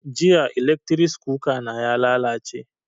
Jiya eletris kuka na ya lalace